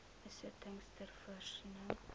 besittings ter voorsiening